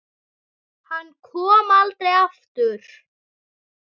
Hann kom aldrei aftur.